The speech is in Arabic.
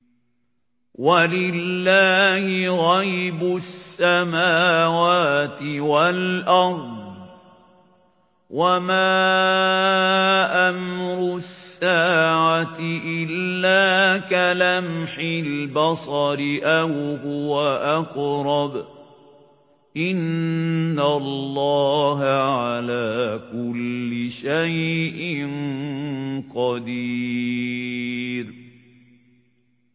وَلِلَّهِ غَيْبُ السَّمَاوَاتِ وَالْأَرْضِ ۚ وَمَا أَمْرُ السَّاعَةِ إِلَّا كَلَمْحِ الْبَصَرِ أَوْ هُوَ أَقْرَبُ ۚ إِنَّ اللَّهَ عَلَىٰ كُلِّ شَيْءٍ قَدِيرٌ